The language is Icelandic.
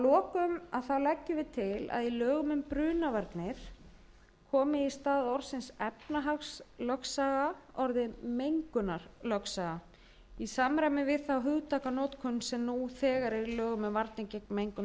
til að í lögum um brunavarnir komi í stað orðsins efnahagslögsaga orðið mengunarlögsaga í samræmi við þá hugtakanotkun sem nú þegar er í lögum um varnir gegn mengun